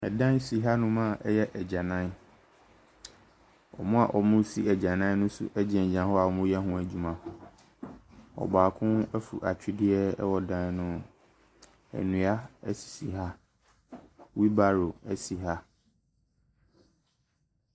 Dan si hanom a ɛyɛ agyanan. Wɔn a wɔresi agyanan no nso gyinagyina hɔ a wɔreyɛ ho adwuma. Ɔbaako aforo atwedeɛ wɔ dan no ho. Nnua sisi ha. Wheelbarrow si ha.